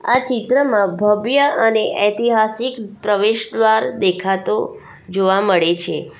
આ ચિત્રમાં ભવ્ય અને ઐતિહાસિક પ્રવેશદ્વાર દેખાતો જોવા મળે છે.